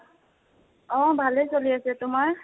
অ, ভালেই চলি আছে, তোমাৰ?